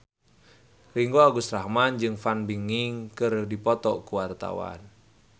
Ringgo Agus Rahman jeung Fan Bingbing keur dipoto ku wartawan